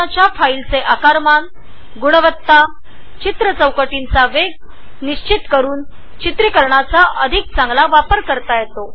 video ऑप्शनमुळे तुम्ही रेकॉर्डिंगच्या वेळी फाईल साईझ कॉलिटी आणि फ्रेम रेट्स ठरवू शकता